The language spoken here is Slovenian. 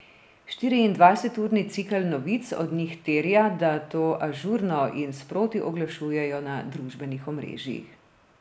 Štiriindvajseturni cikel novic od njih terja, da to ažurno in sproti oglašujejo na družbenih omrežjih.